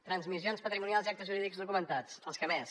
transmissions patrimonials i actes jurídics documentats els que més